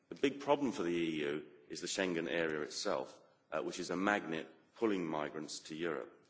The big problem for the EU is the Schengen area itself, which is a magnet pulling migrants to Europe.